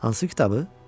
Hansı kitabı?